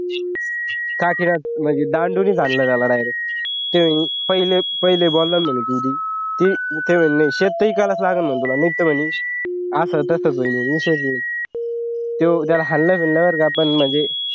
का किळस म्हणजे दांडुनी हाणला त्याला direct हे पहिले पहिले बोलला म्हणे हे ते म्हणे नाही शेतही ईकायलाच लागल तुला मी तर म्हणे तो जर हलला तर